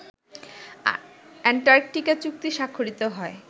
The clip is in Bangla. অ্যান্টার্কটিকা চুক্তি স্বাক্ষরিত হয়